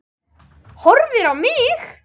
Horfir á mig.